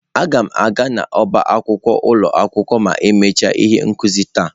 Aga m aga n'ọba akwụkwọ ụlọ akwụkwọ ma emechaa ihe nkuzi taa.